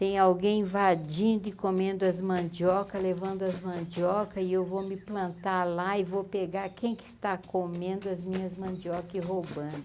Tem alguém invadindo e comendo as mandioca, levando as mandioca e eu vou me plantar lá e vou pegar quem que está comendo as minhas mandioca e roubando.